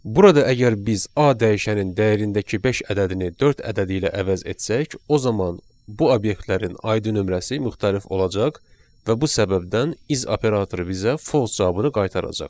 Burada əgər biz A dəyişənin dəyərindəki beş ədədini dörd ədədi ilə əvəz etsək, o zaman bu obyektlərin ID nömrəsi müxtəlif olacaq və bu səbəbdən is operatoru bizə false cavabını qaytaracaq.